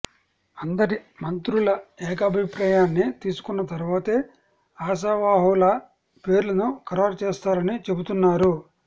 అందరి మంత్రుల ఏకాభిప్రాయాన్ని తీసుకున్న తరువాతే ఆశాావహుల పేర్లను ఖరారు చేస్తారని చెబుతున్నారు